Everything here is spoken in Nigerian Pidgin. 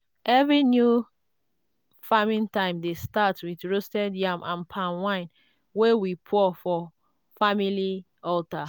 every new farming time dey start with roasted yam and palm wine wey we pour for family altar.